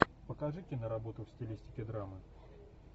покажи киноработу в стилистике драмы